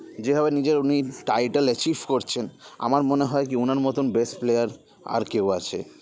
যে ভাবে নিজের উনি title achieve করছেন আমার মনে হয় কি ওনার মতন best player আর কেউ আছে